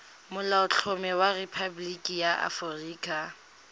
molaotlhomo wa rephaboliki ya aforika